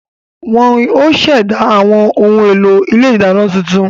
Wọ́n ó ṣẹ̀dá àwọn ohun èlò ilé ìdáná tuntun